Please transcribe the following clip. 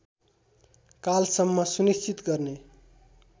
कालसम्म सुनिश्चित गर्ने